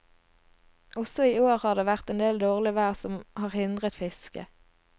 Også i år har det vært endel dårlig vær som har hindret fisket.